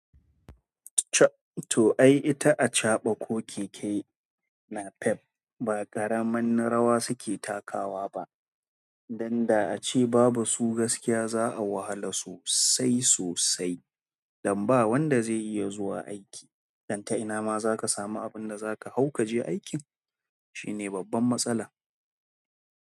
To ai ita acaɓa ko keke NAPEP, ba ƙaramar rawa suke takawa ba, dan da ace babu su gaskiya za'a wahala sosai sosai. Dan ba wanda zai iya zuwa aiki. Dan ta ina ma zaka samu abinda zaka samu kaje aikin. Shine babban matsalar.